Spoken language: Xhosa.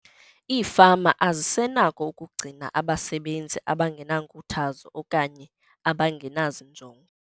Iifama azisenako ukugcina abasebenzi abangenankuthazo okanye abangenazinjongo.